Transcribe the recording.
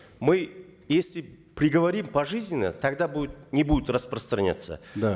мы если приговорим пожизненно тогда будет не будет распространяться да